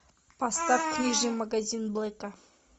поставь книжный магазин блэка